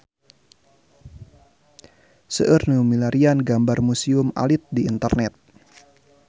Seueur nu milarian gambar Museum Alit di internet